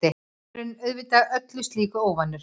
Maðurinn auðvitað öllu slíku óvanur.